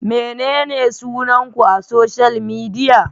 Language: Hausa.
Menene sunan ku a social media?